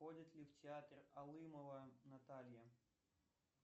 ходит ли в театр алымова наталья